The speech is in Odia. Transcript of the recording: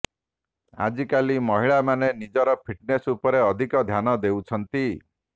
ଆଜିକାଲି ମହିଳାମାନେ ନିଜର ଫିଟନେସ ଉପରେ ଅଧିକ ଧ୍ୟାନ ଦେଉଛନ୍ତି